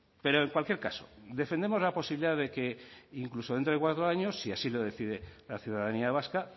pero en cualquier caso defendemos la posibilidad de que incluso dentro de cuatro años si así lo decide la ciudadanía vasca